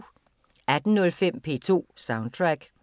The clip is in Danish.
18:05: P2 Soundtrack